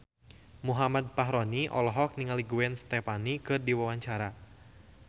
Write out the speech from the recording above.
Muhammad Fachroni olohok ningali Gwen Stefani keur diwawancara